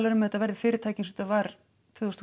um að þetta verði fyrirtæki eins og þetta var tvö þúsund og